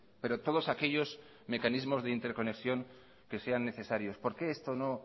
pero todos aquellos mecanismos de interconexión que sean necesarios